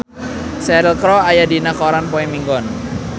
Cheryl Crow aya dina koran poe Minggon